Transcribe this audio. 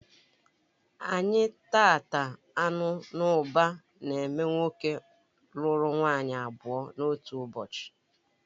Anyị tata anụ n'ụba n'ememe nwoke lụrụ nwaanyị abụọ n'otu ụbọchị